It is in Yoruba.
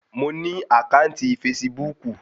Mo ní àkáǹtì fasibúùkù